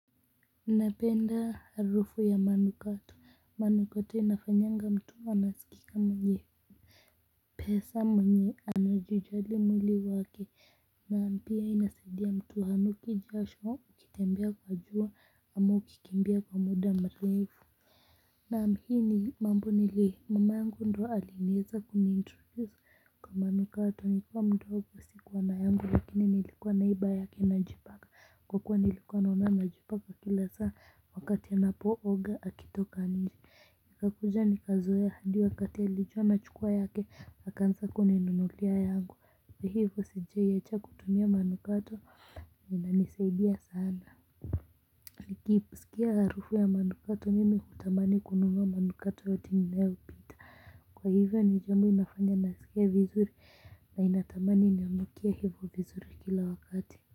Ninapenda harufu ya manukato manukato inafanyanga mtu anasikika mwenye pesa mwenye anajijali mwili wake na pia inasaidia mtu hanuki jasho ukitembea kwa jua ama ukikimbia kwa muda mrefu naam hii ni mambo nili mamangu ndyo aliweza kuni introduce kwa manukato nikiwa mdogo sikuwa na yangu lakini nilikuwa naiba yake najipakq kwa kuwa nilikuwa naona anajipaka kila saa wakati anapooga akitoka nje. Nikakuja nikazoea hadi wakati alijua nachukua yake akaanza kuninunulia yangu hivyo sijawahi acha kutumia manukato yamenisaidia sana. Nikisikia harufu ya manukato mimi hutamani kununua manukato yote nilayopita kwa hivyo ni jambo inafanya nasikia vizuri na ninatamani ninukie hivyo vizuri kila wakati.